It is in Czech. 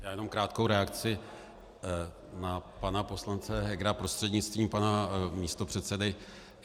Já jenom krátkou reakci na pana poslance Hegera prostřednictvím pana místopředsedy.